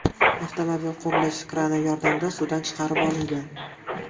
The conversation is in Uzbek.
Avtomobil qurilish krani yordamida suvdan chiqarib olingan.